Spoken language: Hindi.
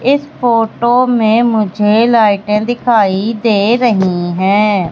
इस फोटो में मुझे लाइटे दिखाई दे रही है।